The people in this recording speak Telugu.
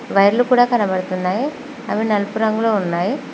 వైర్లు కూడ కనబడుతున్నాయి అవి నలుపు రంగులో ఉన్నాయి.